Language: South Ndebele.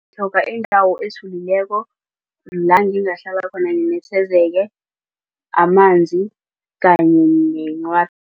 Ngitlhoga indawo ethulileko la ngingahlala khona nginethezeke amanzi kanye